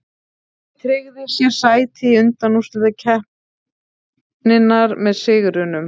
Liðið tryggði sér sæti í undanúrslitum keppninnar með sigrinum.